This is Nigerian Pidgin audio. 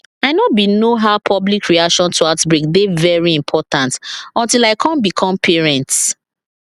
i know bin know how public reaction to outbreak dey very important until i come become parents